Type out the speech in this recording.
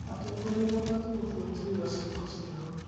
Atongoria mabatiĩ gũbuatĩrĩra ciĩko ciao.